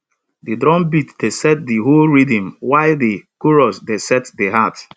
de drumbeat dey set de hoe rhythm while de chorus dey set de heart